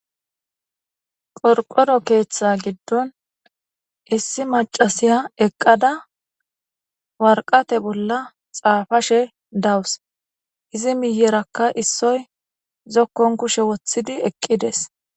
Qorqqoro keeththa giddon issi maccasiya eqqada waraqata bolla xaapashe dawus izi miyeraka issoy zokkon kushe woththidi eqqides.